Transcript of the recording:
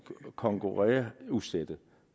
konkurrenceudsætte